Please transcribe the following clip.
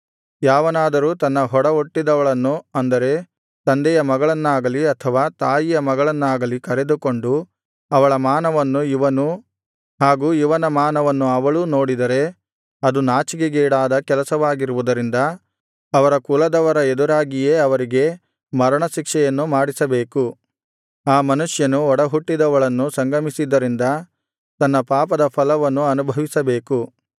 ಯಾವನಾದರೂ ತನ್ನ ಒಡಹುಟ್ಟಿದವಳನ್ನು ಅಂದರೆ ತಂದೆಯ ಮಗಳನ್ನಾಗಲಿ ಅಥವಾ ತಾಯಿಯ ಮಗಳನ್ನಾಗಲಿ ಕರೆದುಕೊಂಡು ಅವಳ ಮಾನವನ್ನು ಇವನೂ ಹಾಗು ಇವನ ಮಾನವನ್ನು ಅವಳೂ ನೋಡಿದರೆ ಅದು ನಾಚಿಕೆಗೇಡಾದ ಕೆಲಸವಾಗಿರುವುದರಿಂದ ಅವರ ಕುಲದವರ ಎದುರಾಗಿಯೇ ಅವರಿಗೆ ಮರಣಶಿಕ್ಷೆಯನ್ನು ಮಾಡಿಸಬೇಕು ಆ ಮನುಷ್ಯನು ಒಡಹುಟ್ಟಿದವಳನ್ನು ಸಂಗಮಿಸಿದ್ದರಿಂದ ತನ್ನ ಪಾಪದ ಫಲವನ್ನು ಅನುಭವಿಸಬೇಕು